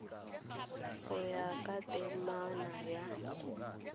go ya ka temana ya